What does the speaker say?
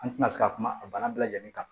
An tɛna se ka kuma a bana bɛɛ lajɛlen kan